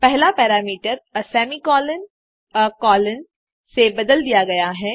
पहला parameter a semicolon a colon से बदल दिया गया है